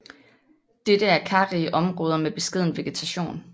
Dette er karrige områder med beskeden vegetation